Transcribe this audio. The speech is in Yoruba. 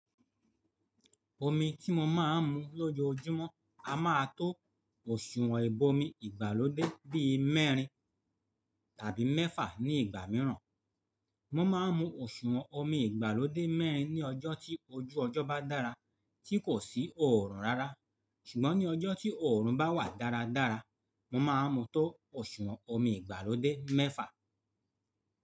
Omi tí mo máa ń mu lójoójúmọ́ a máa tó òsùwọ̀n ibomi ìgbàlódé bí i mẹ́rin tàbí mẹ́fà ní ìgbà mìíràn. Mo máa ń mu òsùwọ̀n omi ìgbàlódé mẹ́rin ní ọjọ́ tí ojú ọjọ́ bá dára tí kò sí òòrùn rárá. Ṣùgbọ́n ní ọjọ́ tí òòrùn bá wà dáradára, mo máa mu tó òsùwọ̀n omi ìgbàlódé mẹ́fà.